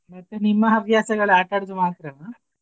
ಮತ್ತೆ ನಿಮ್ಮ ಹವ್ಯಾಸಗಳು ಆಟ ಆಡುದು ಮಾತ್ರನಾ?